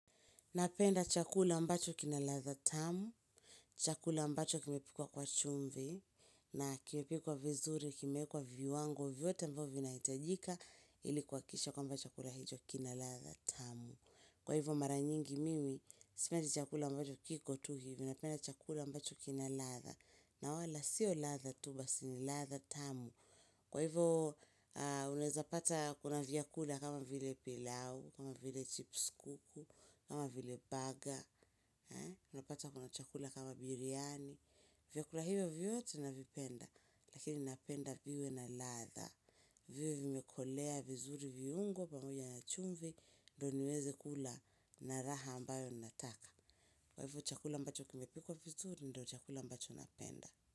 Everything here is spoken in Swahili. Napenda chakula ambacho kina ladha tamu, chakula ambacho kimepikwa kwa chumvi, na kimepikwa vizuri, kimekwa viwango, vyote ambavyo vinahitajika, ili kuhakikisha kwamba chakula hicho kina ladha tamu. Kwa hivyo mara nyingi mimi, sipendi chakula ambacho kiko tu hivi napenda chakula ambacho kina ladha, na wala siyo ladha tu basi ni, ladha tamu. Kwa hivyo unaeza pata kuna vyakula kama vile pilau, kama vile chips kuku, kama vile baga. Unapata kuna chakula kama biryani. Viyakula hivyo vyote navipenda. Lakini napenda viwe na ladha. Viwe vimekolea vizuri viungo pamoja na chumvi ndo niweze kula na raha ambayo nataka. Kwa hivyo chakula ambacho kimepikwa vizuri. Ndo chakula ambacho napenda.